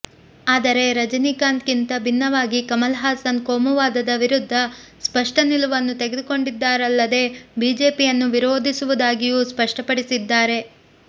ಆದರೆ ರಜನಿಕಾಂತ್ಗಿಂತ ಭಿನ್ನವಾಗಿ ಕಮಲ್ ಹಾಸನ್ ಕೋಮುವಾದದ ವಿರುದ್ಧ ಸ್ಪಷ್ಟ ನಿಲುವನ್ನು ತೆಗೆದುಕೊಂಡಿದ್ದಾರಲ್ಲದೆ ಬಿಜೆಪಿಯನ್ನು ವಿರೋಧಿಸುವುದಾಗಿಯೂ ಸ್ಪಷ್ಟಪಡಿಸಿದ್ದಾರೆ